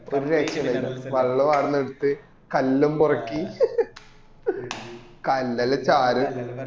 ഒരു രക്ഷ ഇല് വെള്ളോം ആടുന്നു എടുത്തു കല്ലും പെറുക്കി കല്ല് എല്ലൊം ഷാരു